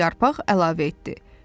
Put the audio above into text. Birinci yarpaq əlavə etdi.